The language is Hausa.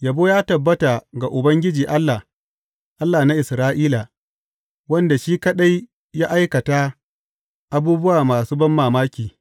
Yabo ya tabbata ga Ubangiji Allah, Allah na Isra’ila, wanda shi kaɗai ya aikata abubuwa masu banmamaki.